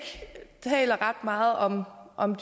ret meget om om